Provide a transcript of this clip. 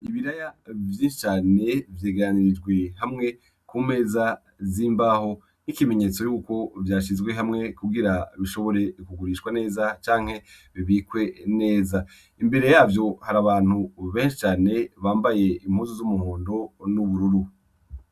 Ibiraya vyinshi cane vyegaranirijwe hamwe ku meza z'imbaho, nk'ikimenyetso yuko vyashizwe hamwe kugira bishobore kugurishwa neza canke bibikwe neza imbere yavyo hari abantu benshi cane bambaye impuzu z'umuhondo n'ubururu.